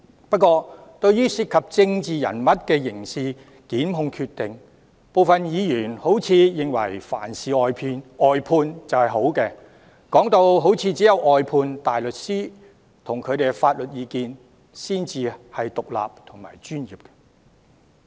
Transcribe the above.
不過，對於涉及政治人物的刑事檢控決定，部分議員似乎認為凡事外判就等於好，唯有外判大律師和他們的法律意見才算是獨立和專業的。